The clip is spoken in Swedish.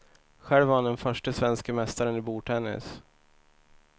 Själv var han den förste svenske mästaren i bordtennis.